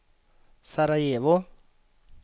Sarajevo